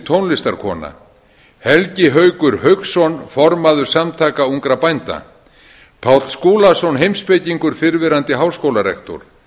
tónlistarkona helgi haukur hauksson formaður samtaka ungra bænda páll skúlason heimspekingur fyrrverandi háskólarektor